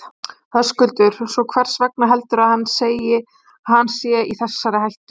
Höskuldur: Svo, hvers vegna heldurðu að hann segi að hann sé í þessari hættu?